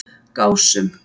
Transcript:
Gásum